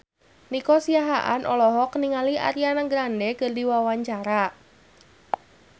Nico Siahaan olohok ningali Ariana Grande keur diwawancara